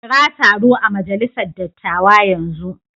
Kira taro a majalisar dattawa yanzu.